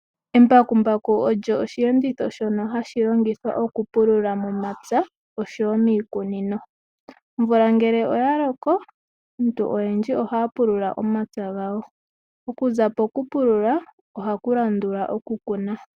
Eembakumbaku olyo oshiyenditho shono hashi longithwa okupulula momapya osho wo miikunino. Omvula ngele oya loko aantu oyendji ohaya pulula omapya gawo, okuza pokupulula ohaku landula okukuna.